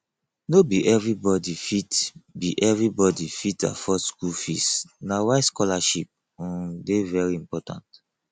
no be everybody fit be everybody fit afford school fees na why scholarship um dey very important